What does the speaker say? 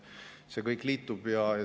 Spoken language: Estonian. See kõik liitub.